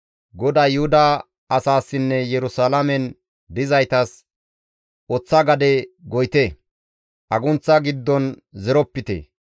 GODAY Yuhuda asaassinne Yerusalaamen dizaytas, «Oththa gade goyite; agunththa giddon zeropite.